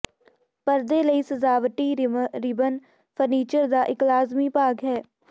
ਪਰਦੇ ਲਈ ਸਜਾਵਟੀ ਰਿਬਨ ਫਰਨੀਚਰ ਦਾ ਇੱਕ ਲਾਜ਼ਮੀ ਭਾਗ ਹੈ